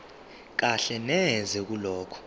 kahle neze kulokho